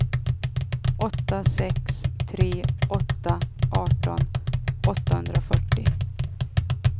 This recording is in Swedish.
åtta sex tre åtta arton åttahundrafyrtio